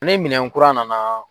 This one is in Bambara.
Ne minɛ kura nana.